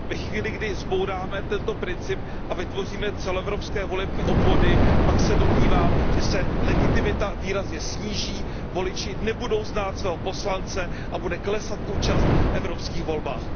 Ve chvíli, kdy zbouráme tento princip a vytvoříme celoevropské volební obvody, pak se domnívám, že se legitimita výrazně sníží, voliči nebudou znát svého poslance a bude klesat účast v evropských volbách.